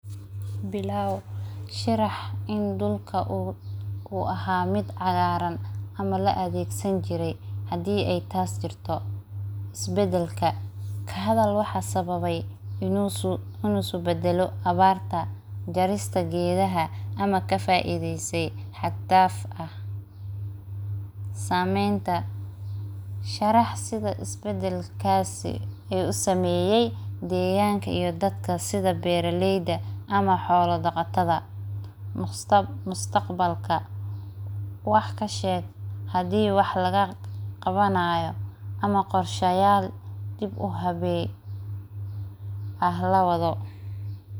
Bilaaw sharax in dhulka uu aha mid caagaran ama laadegsani jiray hedey taas jirto isbedelka, kahadhal waxa isbedele sidha abarta ,jarista gedaha hadhdafka ah . Sameynta sharax sidha isbedelkasi u sameyey deganka iyo sidha dadka beeraleyda ama xoola daqatada mustaqbalka ,wax kasheg hadi wax laga qawanayo ama qorshayal dib u hawe ah lawadho.